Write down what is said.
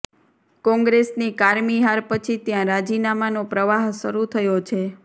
કોંગ્રેસની કારમી હાર પછી ત્યાં રાજીનામાનો પ્રવાહ શરૂ થયો છે